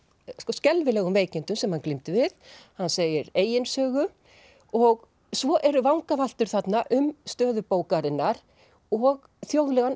skelfilegum veikindum sem hann glímdi við hann segir eigin sögu og svo eru vangaveltur þarna um stöðu bókarinnar og þjóðlegan